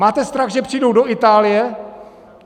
Máte strach, že přijdou do Itálie?